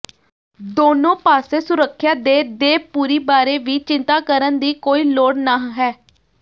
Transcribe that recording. ਦੋਨੋ ਪਾਸੇ ਸੁਰੱਖਿਆ ਦੇ ਦੇਪੂਰਿ ਬਾਰੇ ਵੀ ਚਿੰਤਾ ਕਰਨ ਦੀ ਕੋਈ ਲੋੜ ਨਹ ਹੈ